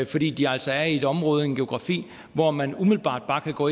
fordi de altså er i et område i en geografi hvor man umiddelbart bare kan gå